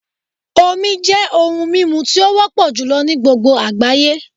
Omi jẹ́ ohùn mímu tí ó wópò jùlo ní gbogbo àgbáyé